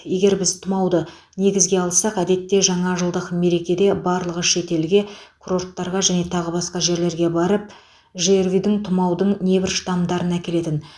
егер біз тұмауды негізге алсақ әдетте жаңа жылдық мерекеде барлығы шетелге курорттарға және тағы басқа жерлерге барып жрви мен тұмаудың небір штамдарын әкелетін